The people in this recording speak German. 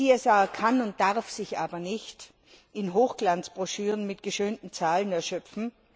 CSR kann und darf sich aber nicht in Hochglanzbroschüren mit geschönten Zahlen erschöpfen.